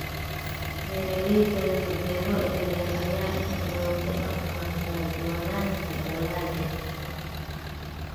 Beeralayda leh beero yaryar ayaa inta badan ku dhaqma kala-duwanaanta dalagga.